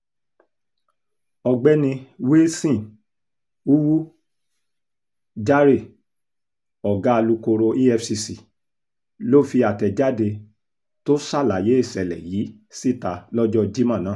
ọ̀gbẹ́ni wilson uwu jahre ọ̀gá alukoro efcc ló fi àtẹ̀jáde tó ṣàlàyé ìṣẹ̀lẹ̀ yìí síta lọ́jọ́ jimo náà